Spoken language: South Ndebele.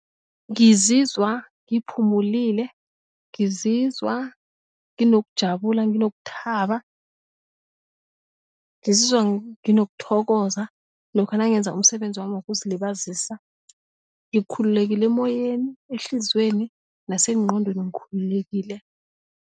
Ngizizwa ngiphumulile ngizizwa nginokujabula nginokuthaba, ngizizwa nginokuthokoza lokha nangenza umsebenzi wami wokuzilibazisa ngikhululekile emoyeni, ehliziyweni nasenqqondweni ngikhululekile.